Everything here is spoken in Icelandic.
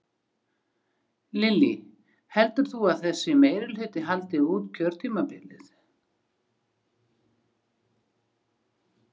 Lillý: Heldur þú að þessi meirihluti haldi út kjörtímabilið?